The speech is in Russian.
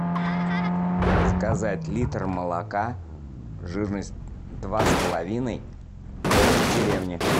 заказать литр молока жирность два с половиной домик в деревне